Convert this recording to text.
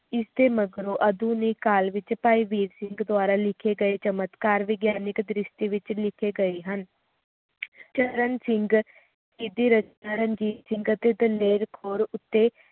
ਇਸ ਤੋਂ ਅਲਾਵਾ ਆਧੁਨਿਕ ਕਲ ਵਿਚ ਭਾਈ ਵੀਰ ਸਿੰਘ ਦੁਆਰਾ ਲਿਖੇ ਗਏ ਚਮਤਕਾਰ ਵੀ ਦ੍ਰਿਸ਼ਟੀ ਵਿਚ ਲਿਖੇਂਗੀਏ ਹਨ ਚਰਨ ਚਰਨ ਸਿੰਘ ਆਆਅਤੇ ਦਲੇਰ ਕੌਰ ਉੱਤੇ